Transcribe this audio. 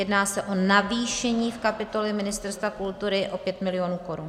Jedná se o navýšení v kapitole Ministerstva kultury o 5 mil. korun.